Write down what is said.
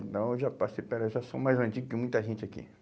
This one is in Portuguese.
Então eu já passei, pera, eu já sou mais antigo que muita gente aqui.